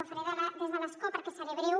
ho faré des de l’escó perquè seré breu